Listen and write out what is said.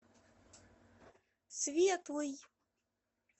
светлый